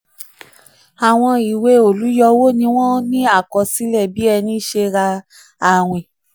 àwọn ìwée olùyọwó ni wọ́n ní akọsílẹ̀ um bí ẹni ṣe rà ní àwìn.